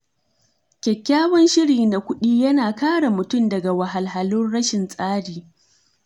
Kyakkyawan shiri na kuɗi yana kare mutum daga wahalhalun rashin tsari.